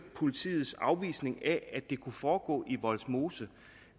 politiets afvisning af at det kunne foregå i vollsmose